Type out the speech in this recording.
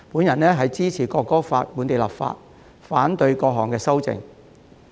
因此，我支持就《國歌法》進行本地立法，並且反對各項修正案。